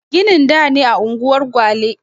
Ginin da ne a unguwar gwale